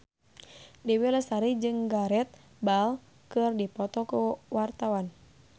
Dewi Lestari jeung Gareth Bale keur dipoto ku wartawan